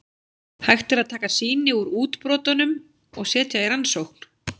Hægt er að taka sýni úr útbrotunum og setja í rannsókn.